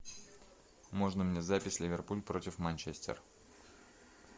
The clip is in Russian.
можно мне запись ливерпуль против манчестер